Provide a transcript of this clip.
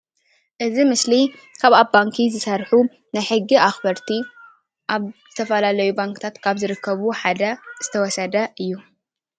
እዚ ምስሊ ካብ ኣብ ባንኪ ዝሰርሑ ናይ ሕጊ ኣኽበርቲ ኣብ ዝተፈላለዩ ባንክታታት ካብ ዝርከቡ ሓደ ዝተወሰደ እዩ።